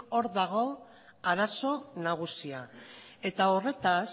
hor dago arazo nagusia eta horretaz